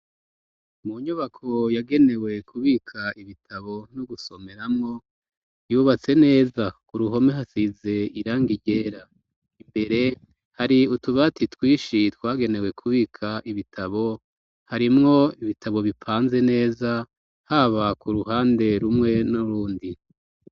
Mu nyubako yagenewe kubika ibitabo no gusomeramwo, yubatse neza k'uruhome hasize irangi ryera, imbere hari utubati twishi twagenewe kubika ibitabo, harimwo ibitabo bipanze neza, haba ku ruhande rumwe nurundi.